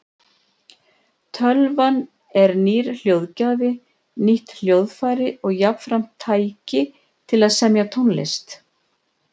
Tölvan er nýr hljóðgjafi, nýtt hljóðfæri og jafnframt tæki til að semja tónlist.